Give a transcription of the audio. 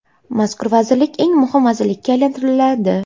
Mazkur vazirlik eng muhim vazirlikka aylantiriladi.